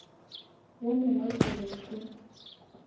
wo mongwe ke be ke